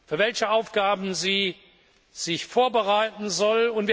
soll, für welche Aufgaben sie sich vorbereiten soll.